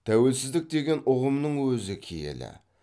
тәуелсіздік деген ұғымның өзі киелі